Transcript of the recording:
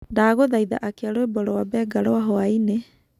ndagũthaĩtha akĩa rwĩmbo rwa Benga rwa hwaĩnĩ